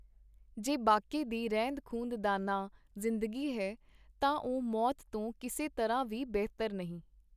ਜੇ ਬਾਕੀ ਦੀ ਰਹਿੰਦ-ਖੂੰਦ ਦਾ ਨਾਂ ਜਿੰ.ਦਗੀ ਹੈ, ਤਾਂ ਉਹ ਮੌਤ ਤੋਂ ਕਿਸੇ ਤਰ੍ਹਾਂ ਵੀ ਬਿਹਤਰ ਨਹੀਂ.